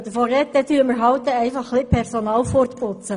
... dann werden wir halt ein bisschen Personal wegputzen.